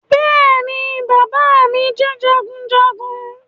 Bẹ́ẹ̀ ni bàbá mi jẹ́ jagunjagun